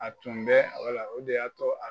A tun bɛ wala o de y'a to a